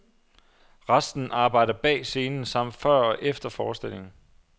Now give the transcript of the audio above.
Resten arbejder bag scenen samt før og efter forestillingen.